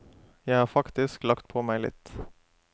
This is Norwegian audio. Jeg har faktisk lagt på meg litt.